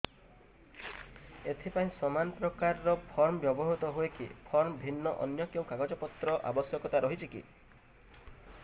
ଏଥିପାଇଁ ସମାନପ୍ରକାର ଫର୍ମ ବ୍ୟବହୃତ ହୂଏକି ଫର୍ମ ଭିନ୍ନ ଅନ୍ୟ କେଉଁ କାଗଜପତ୍ରର ଆବଶ୍ୟକତା ରହିଛିକି